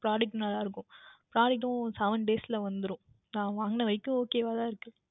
Product நன்றாக இருக்கும் Product உம் Seven Days யில் வந்துவிடும் நான் வாங்குனவரைக்கும் Ok வாக தான் இருந்தது